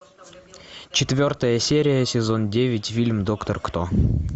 четвертая серия сезон девять фильм доктор кто